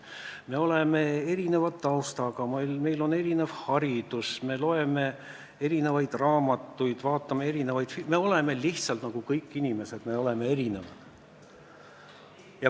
Me oleme erineva taustaga, meil on erinev haridus, me loeme erinevaid raamatuid, vaatame erinevaid filme – me oleme lihtsalt, nagu on kõik inimesed, erinevad.